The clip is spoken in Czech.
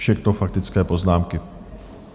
Všechno faktické poznámky.